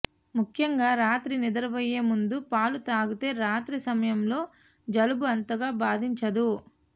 ముఖ్యంగా రాత్రి నిద్రించబోయే ముందు పాలు తాగితే రాత్రి సమయంలో జలుబు అంతగా బాధించదు